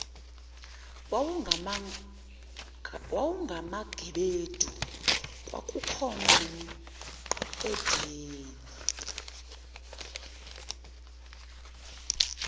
wawungamagebedu kwakukhona nomqedeni